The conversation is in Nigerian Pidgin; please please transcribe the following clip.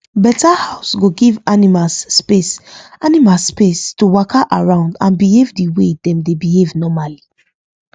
better house go give animals space animals space to waka around and behave the way dem dey behave normally